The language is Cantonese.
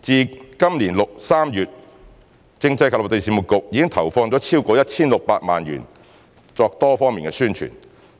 自今年3月，政制及內地事務局已投放超過 1,600 萬元作多方面宣傳，